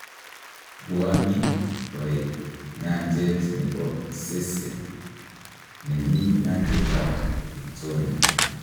Bwanii toik nyanjet ne bo Ssese ne mii nyanjet ab Victoria.